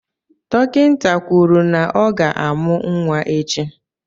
Dọkịta kwuru na ọ ga-amụ́ nwa echi.